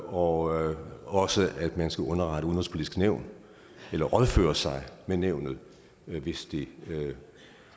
og også at man skal underrette det udenrigspolitiske nævn eller rådføre sig med nævnet hvis det